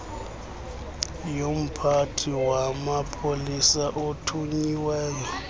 yomphathi wamapolisa othunyiweyo